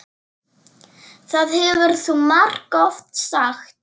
Það hefur þú margoft sagt.